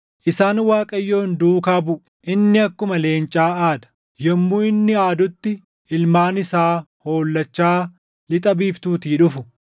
Isaan Waaqayyoon duukaa buʼu; inni akkuma leencaa aada; yommuu inni aadutti ilmaan isaa hollachaa lixa biiftuutii dhufu.